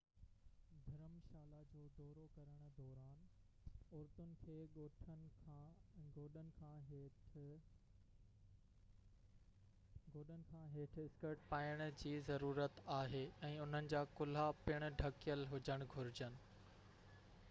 ڌرم شالا جو دورو ڪرڻ دوران عورتن کي ڳوڏن کان هيٺ اسڪرٽ پائڻ جي ضرورت آهي ۽ انهن جا ڪلها پڻ ڍڪيل هجڻ گهرجن